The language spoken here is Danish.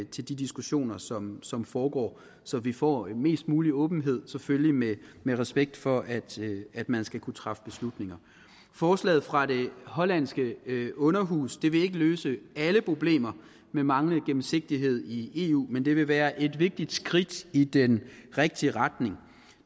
til de diskussioner som som foregår så vi får mest mulig åbenhed selvfølgelig med respekt for at at man skal kunne træffe beslutninger forslaget fra det hollandske underhus vil ikke løse alle problemer med manglende gennemsigtighed i eu men det vil være et vigtigt skridt i den rigtige retning